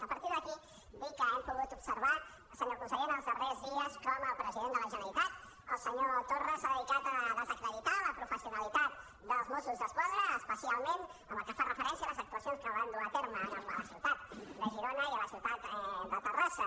a partir d’aquí dir que hem pogut observar senyor conseller en els darrers dies com el president de la generalitat el senyor torra s’ha dedicat a desacreditar la pro·fessionalitat dels mossos d’esquadra especialment pel que fa referència a les actua·cions que van dur a terme a la ciutat de girona i a la ciutat de terrassa